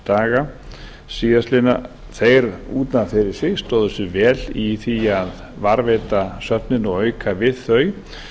haustdaga síðastliðinn þeir út af fyrir sig stóðu sig vel í því að varðveita söfnin og auka við þau